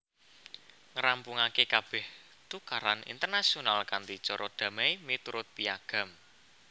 Ngrampungaké kabèh tukaran internasional kanthi cara damai miturut Piagam